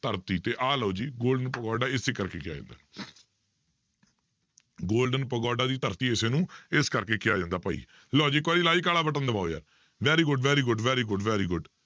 ਧਰਤੀ ਤੇ ਆ ਲਓ ਜੀ golden ਪਗੋਡਾ ਇਸੇ ਕਰਕੇ ਕਿਹਾ ਜਾਂਦਾ golden ਪਗੋਡਾ ਦੀ ਧਰਤੀ ਇਸ ਨੂੰ ਇਸ ਕਰਕੇ ਕਿਹਾ ਜਾਂਦਾ ਭਾਈ, ਲਓ ਜੀ ਇੱਕ ਵਾਰੀ like ਵਾਲਾ button ਦਬਾਓ ਯਾਰ very good, very good, very good, very good